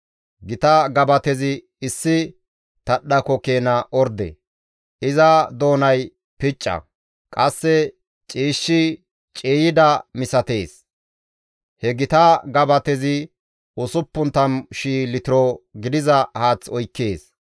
Gita gabatezi issi tadhdhako keena orde; iza doonay picca; qasse ciishshi ciiyida misatees. He gita gabatezi 60,000 litiro gidiza haath oykkees.